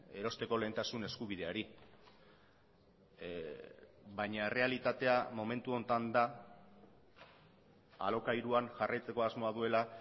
erosteko lehentasun eskubideari baina errealitatea momentu honetan da alokairuan jarraitzeko asmoa duela